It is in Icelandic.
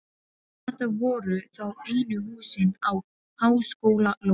Þetta voru þá einu húsin á háskólalóðinni.